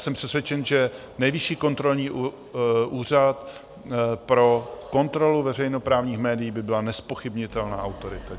Jsem přesvědčen, že Nejvyšší kontrolní úřad pro kontrolu veřejnoprávních médií by byla nezpochybnitelná autorita.